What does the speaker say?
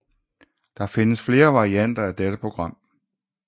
Det findes flere varianter af dette program